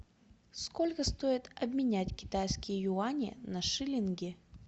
сколько стоит обменять китайские юани на шиллинги